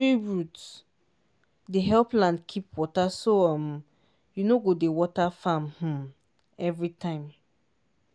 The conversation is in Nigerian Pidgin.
tree root dey help land keep water so um you no go dey water farm um every time.